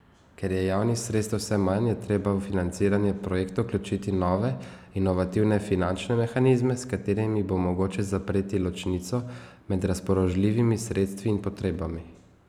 Ker je javnih sredstev vse manj, je treba v financiranje projektov vključiti nove, inovativne finančne mehanizme, s katerimi bo mogoče zapreti ločnico med razpoložljivimi sredstvi in potrebami.